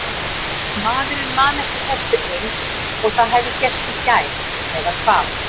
Maður man eftir þessu eins og það hefði gerst í gær. eða hvað?